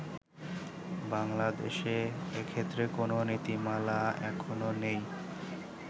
বাংলাদেশে এক্ষেত্রে কোন নীতিমালা এখনো নেই।